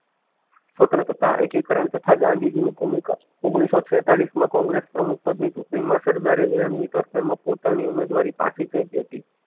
સ્વતંત્રતા એકી કરણ તથા ગાંધીજી ની ભૂમિકા ઓગણીસો છેતાલીસ માં કોંગ્રેસ પ્રમુખ પદ ની ચૂંટણી માં સરદારે મેયર ની તરફેણ માં પોતાની ઉમેદવારી પછી ફેંકી હતી.